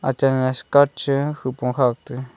achak skirt chu hupong kha tai.